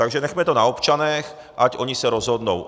Takže nechme to na občanech, ať oni se rozhodnout.